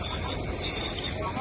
Hə, pasop, pasop.